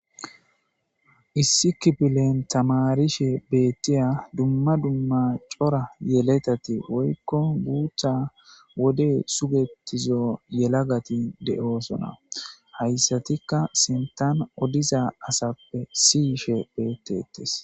Issi kipilen tamarishe beettiya dumma dumma cora yeletati woykko guutha wode sugetizo yela gati de'oosona hayssatikka sintan odiza asappe siyishe beettetes